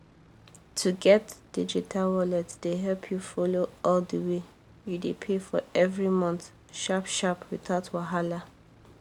to get digital wallet dey help you follow all the wey you dey pay for every month sharp-sharp without wahala